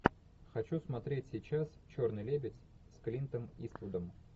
хочу смотреть сейчас черный лебедь с клинтом иствудом